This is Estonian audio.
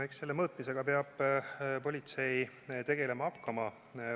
No eks selle mõõtmisega peab politsei tegelema hakkama.